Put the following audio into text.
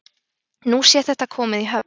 Nú sé þetta komið í höfn